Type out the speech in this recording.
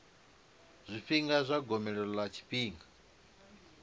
zwifhinga zwa gomelelo ḽa tshifhinga